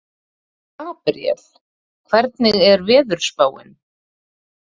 Gabriel, hvernig er veðurspáin?